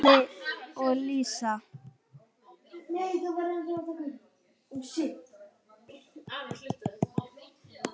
Halli og Lísa.